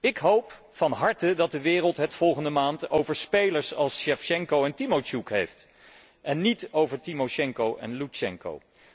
Ik hoop van harte dat de wereld het volgende maand over spelers als Sjevtsjenko en Timotsjoek heeft, en niet over Timosjenko en Loetsjenko.